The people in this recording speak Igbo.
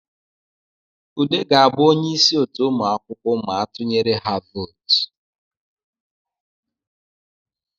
Ude ga-abụ onye isi otu ụmụakwụkwọ ma a tunyere ha votu